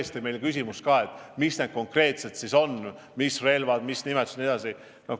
See küsimus tõesti tekkis meil ka, mis relvad need siis konkreetselt on – mis nimetused jne.